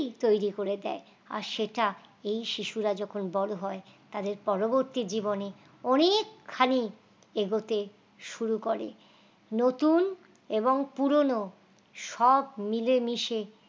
তৈরি করে দেয় আর সেটা এই শিশুরা যখন বড় হয় তাদের পরবর্তী জীবনে অনেক খানি এগোতে শুরু করে নতুন এবং পুরনো সব মিলেমিশে